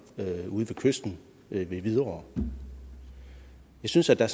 ude ved kysten ved hvidovre jeg synes at der